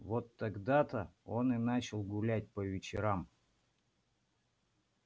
вот тогда то он и начал гулять по вечерам